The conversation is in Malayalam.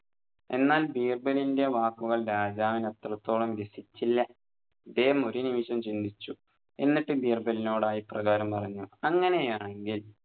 എന്നാൽ ബീർബലിൻറെ വാക്കുകൾ രാജാവിന് അത്രത്തോളം രസിച്ചില്ല ഇദ്ദേഹം ഒരു നിമിഷം ചിന്തിച്ചു എന്നിട്ടും ബീർബലിനോടായി ഇപ്രകാരം പറഞ്ഞു അങ്ങനെയാണെങ്കിൽ